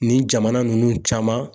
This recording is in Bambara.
Nin jamana nunnu caman